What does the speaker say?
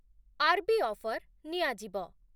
RB offer ନିଆଯିବ